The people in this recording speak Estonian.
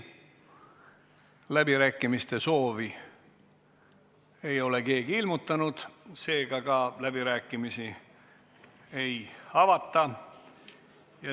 Kuna läbirääkimiste soovi ei ole keegi ilmutanud, siis läbirääkimisi ei avata.